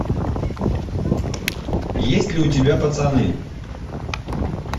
есть ли у тебя пацаны